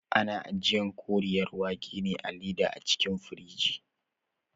Ana ajiyan Koriyar wake ne a leda a cikin firigi